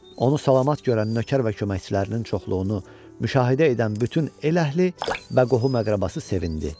Onu salamat görən nökər və köməkçilərinin çoxluğunu müşahidə edən bütün el əhli və qohum-əqrabası sevindi.